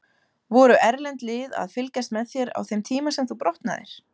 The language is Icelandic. Voru erlend lið að fylgjast með þér á þeim tíma sem þú brotnaðir?